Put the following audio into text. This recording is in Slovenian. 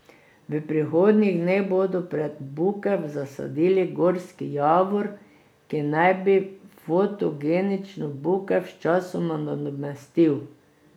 V prihodnjih dneh bodo pred bukev zasadili gorski javor, ki naj bi fotogenično bukev sčasoma nadomestil.